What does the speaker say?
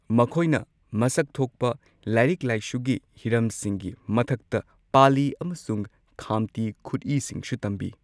ꯃꯈꯣꯏꯅ ꯃꯁꯛ ꯊꯣꯛꯄ ꯂꯥꯏꯔꯤꯛ ꯂꯥꯏꯁꯨꯒꯤ ꯍꯤꯔꯝꯁꯤꯡꯒꯤ ꯃꯊꯛꯇ ꯄꯥꯂꯤ ꯑꯃꯁꯨꯡ ꯈꯥꯝꯇꯤ ꯈꯨꯠꯏꯁꯤꯡꯁꯨ ꯇꯝꯕꯤ꯫